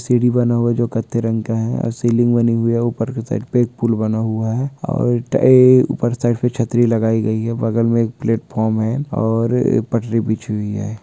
सीड़ी बना हुआ जो काठे रंग का है और सीलिंग बनी हुई है ऊपर के साइड पेे एक पूल बना हुआ है। और ट ए ऊपर साइड पे छतरी लगाई गई है बगल में एक प्लेटफार्म है। और पटरी बीछी हुई है।